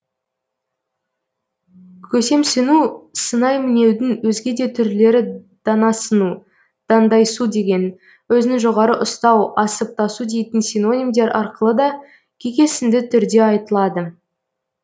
көсемсіну сынай мінеудің өзге де түрлері данасыну дандайсу деген өзін жоғары ұстау асып тасу дейтін синонимдер арқылы да кекесінді түрде айтылады